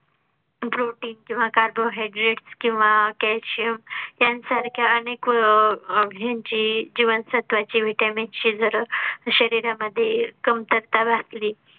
protein किंवा carbohydrat किंवा calcium त्यांसारख्या अनेक ह्यांची जीवनसत्त्वाची vitamin ची जर शरीरा मध्ये कमतरता भासली